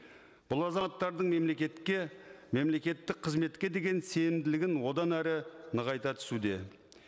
бұл азаматтардың мемлекетке мемлекеттік қызметке деген сенімділігін одан әрі нығайта түсуде